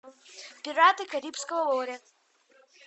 пираты карибского моря